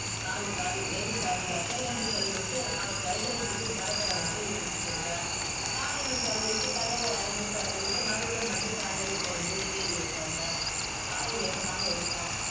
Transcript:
sorry sorry very sorry doctor என்று சொல்லி விட்டு அவள் கைகளை பிடித்து தரதரவென்று இழுத்துச் சென்றான் car ரினுள் தள்ளிவிட்டு கதவை அறைந்து சாத்திவிட்டு மறுபடியும் வந்து கதவைத் திறந்து ஏறி உட்கார்ந்தான் car ஐ வேகமாக எடுத்தான்